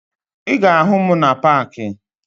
Ị ga-ahụ m na paakị